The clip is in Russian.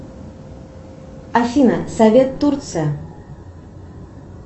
афина совет турция